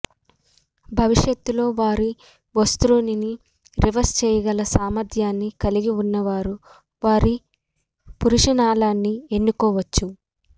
భవిష్యత్తులో వారి ఒస్త్రోరీని రివర్స్ చేయగల సామర్థ్యాన్ని కలిగి ఉన్నవారు వారి పురీషనాళాన్ని ఎన్నుకోవచ్చు